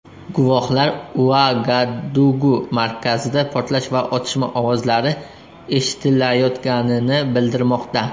Guvohlar Uagadugu markazida portlash va otishma ovozlari eshitilayotganini bildirmoqda.